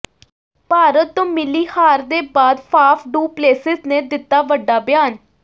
ਭਾਰਤ ਤੋਂ ਮਿਲੀ ਹਾਰ ਦੇ ਬਾਅਦ ਫਾਫ ਡੁ ਪਲੇਸਿਸ ਨੇ ਦਿੱਤਾ ਵੱਡਾ ਬਿਆਨ